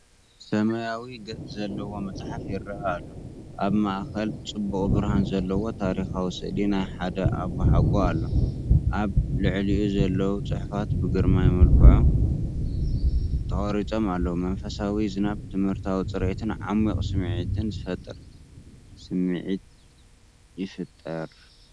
ሰማያዊ ገጽ ዘለዎ መጽሓፍ ይረአ ኣሎ። ኣብ ማእከል ጽቡቕ ብርሃን ዘለዎ ታሪኻዊ ስእሊ ናይ ሓደ ኣቦሓጎ ኣሎ። ኣብ ልዕሊኡ ዘለዉ ጽሑፋት ብግርማዊ መልክዕ ተቐሪጾም ኣለዉ፤ መንፈሳዊ ዝናብ፡ ትምህርታዊ ጽሬትን ዓሚቝ ስምዒትን ዝፈጥር ስምዒት ይፈጥር።